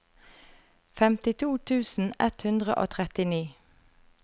femtito tusen ett hundre og trettini